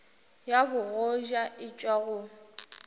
ya bogoja e tšwa go